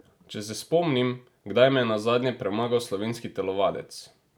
Če se spomnim, kdaj me je nazadnje premagal slovenski telovadec?